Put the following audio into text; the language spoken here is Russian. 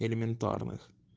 элементарных